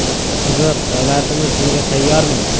Qiziq, davlatimiz bunga tayyormi?